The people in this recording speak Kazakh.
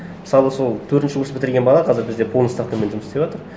мысалы сол төртінші курс бітірген бала қазір бізде полная ставкамен жұмыс істеватыр